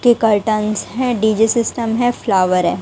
की कार्टेंस है DJ system है फ्लावर है।